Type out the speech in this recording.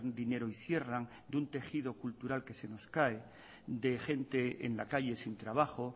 dinero y cierran de un tejido cultural que se nos cae de gente en la calle sin trabajo